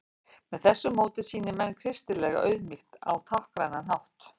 með þessu móti sýni menn kristilega auðmýkt á táknrænan hátt